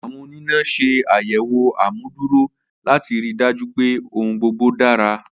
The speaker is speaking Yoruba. Awọn onina ṣe ayẹwo amuduro lati rii daju pe ohun gbogbo dara.